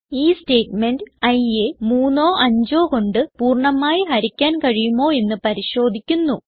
ഈ സ്റ്റേറ്റ്മെന്റ് iയെ 3ഓ 5ഓ കൊണ്ട് പൂർണ്ണമായി ഹരിക്കാൻ കഴിയുമോ എന്ന് പരിശോധിക്കുന്നു